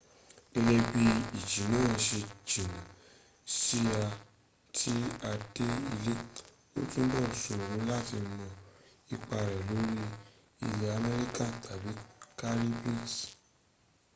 gẹ́gẹ́ bí ìjì náà ṣe jìnà si à ti dé ilẹ̀ o túbọ̀ ṣòro láti mọ ipa rẹ̀ lórí ilẹ̀ amẹríkà tàbí caribbean